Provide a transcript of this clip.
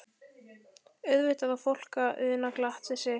Auðvitað á fólk að una glatt við sitt.